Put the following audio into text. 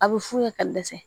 A bɛ f'u ye ka dɛsɛ